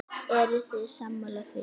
Eruð þið sammála því?